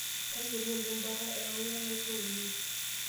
Tayiolo oleng' bata ewoko enaisho oleng'.